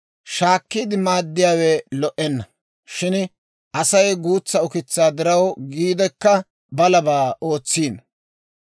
Shaakkiide maaddiyaawe lo"enna; shin Asay guutsa ukitsaa diraw giidekka, balabaa ootsiino.